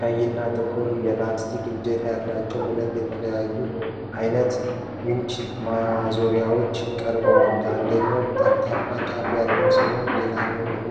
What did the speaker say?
ቀይ እና ጥቁር ላስቲክ እጀታ ያላቸው ሁለትየተለያዩ አይነት ዊንች ማዞሪያዎች (ስክሩድራይቨር) ቀርበዋል። አንደኛው ጠፍጣፋ ጫፍ ያለው ሲሆን ሌላኛው ደግሞ